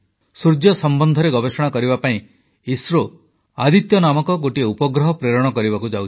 ସୂର୍ଯ୍ୟ ସମ୍ବନ୍ଧରେ ଗବେଷଣା କରିବା ପାଇଁ ଇସ୍ରୋ ଆଦିତ୍ୟ ନାମକ ଗୋଟିଏ ଉପଗ୍ରହ ପ୍ରେରଣ କରିବାକୁ ଯାଉଛି